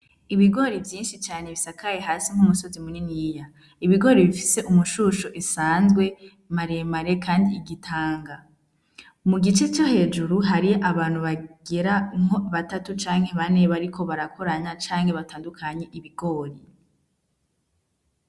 Ibigori vyinshi cane bisakaye hasi nk'umusozi muneni iya ibigori bifise umushusho isanzwe maremare, kandi igitanga mu gice co hejuru hariyo abantu bagera unko batatu canke banebari ko barakoranya canke batandukanye ibigori.